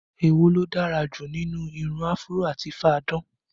Èwo ló dára jù nínú irun áfúró àti fá-a-dán?